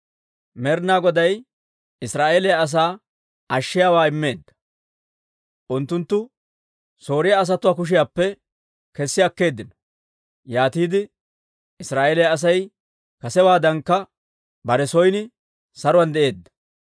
Med'inaa Goday Israa'eeliyaa asaa ashshiyaawaa immeedda; unttunttu Sooriyaa asatuwaa kushiyaappe kessi akkeeddino. Yaatiide Israa'eeliyaa Asay kasewaadankka bare son saruwaan de'eedda.